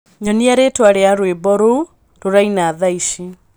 nyonia rītwa ria rwīmbo ruū rūraina thaa ici